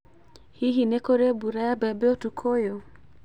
Hihi nĩ kũrĩ mbura ya mbembe ũtukũ ũyũ?